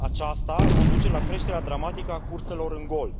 Aceasta ar conduce la creșterea dramatică a curselor în gol.